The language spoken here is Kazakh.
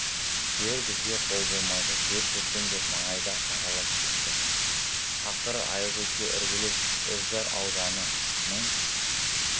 жер бізге қол болмайды жер көрем деп маңайды аралап кетті ақыры аягөзге іргелес үржар ауданының